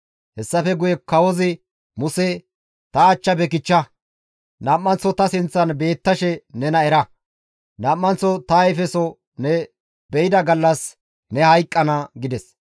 Hessafe guye kawozi Muse, «Ta achchafe kichcha! Nam7anththo ta sinththan beettashe nena era! Nam7anththo ta ayfeso ne be7ida gallas ne hayqqana» gides.